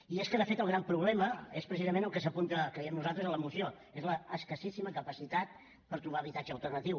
i és que de fet el gran problema és precisament el que s’apunta creiem nosaltres a la moció és l’escassíssima capacitat per trobar habitatge alternatiu